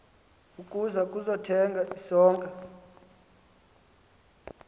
ukuza kuthenga isonka